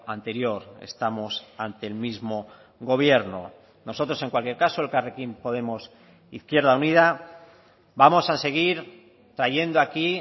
anterior estamos ante el mismo gobierno nosotros en cualquier caso elkarrekin podemos izquierda unida vamos a seguir trayendo aquí